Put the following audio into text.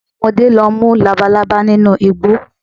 Àwọn ọmọdé lọ mú Labalábá nínú igbó